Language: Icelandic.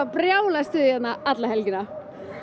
brjálað stuð hérna alla helgina